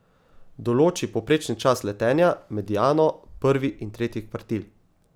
Določi povprečni čas letenja, mediano, prvi in tretji kvartil.